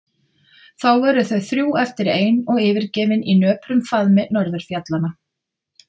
Þá voru þau þrjú eftir ein og yfirgefin í nöprum faðmi norðurfjallanna.